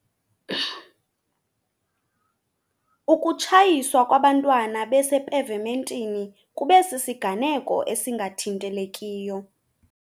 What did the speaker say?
Ukutshayiswa kwabantwana besepevementini kube sisiganeko esingathintelekiyo.